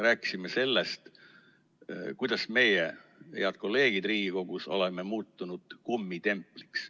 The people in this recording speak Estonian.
Rääkisime sellest, kuidas meie, head kolleegid Riigikogus, oleme muutunud kummitempliks.